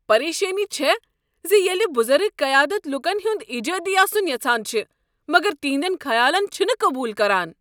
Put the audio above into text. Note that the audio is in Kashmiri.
پریشانی چھےٚ زِ ییٚلہ بزرگ قیادت لوٗكن ہُنٛد ایجٲدی آسُٖن یژھان چھِ مگر تہندٮ۪ن خیالن چھنہ قبول كران۔